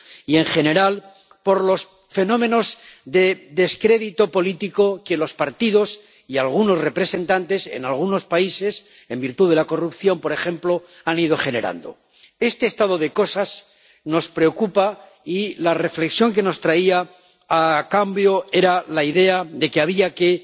y, en general, por los fenómenos de descrédito político que los partidos y algunos representantes en algunos países, en virtud de la corrupción, por ejemplo, han ido generando. Este estado de cosas nos preocupa y la reflexión que nos traía a cambio era la idea de que había que